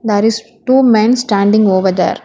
there is two men standing over there.